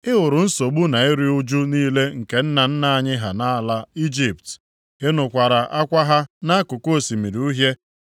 “Ị hụrụ nsogbu na iru ụjụ niile nke nna nna anyị ha nʼala Ijipt; ị nụkwara akwa ha nʼakụkụ Osimiri Uhie.